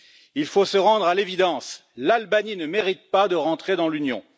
Il faut se rendre à l'évidence, l'Albanie ne mérite pas de rentrer dans l'Union.